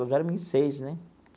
Nós éramos em seis, né?